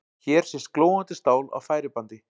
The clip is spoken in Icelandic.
Hér sést glóandi stál á færibandi.